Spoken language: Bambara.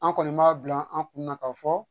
An kɔni b'a bila an kunna k'a fɔ